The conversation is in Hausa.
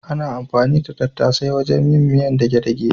Ana anfani da tattasai wajen yin miyar dage-dage.